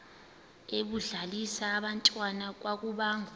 ebedlalisa abantwana kwakubangwa